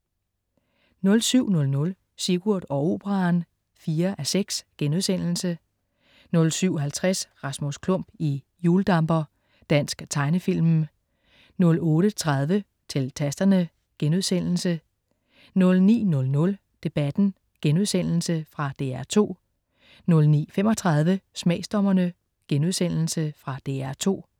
07.00 Sigurd og Operaen 4:6* 07.50 Rasmus Klump i hjuldamper. Dansk tegnefilm 08.30 Til Tasterne* 09.00 Debatten.* Fra DR2 09.35 Smagsdommerne.* Fra DR2